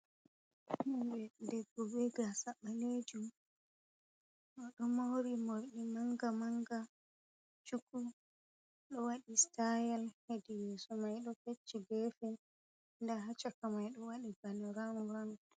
Debbo be gasa ɓalejum o do mauri mordi manga manga, chuku do wadi stayal hedi yeso mai do fecci gefe nda ha caka mai ɗo wadi bane ramuran.